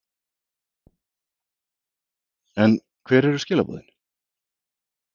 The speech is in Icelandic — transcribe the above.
En hver eru skilaboðin?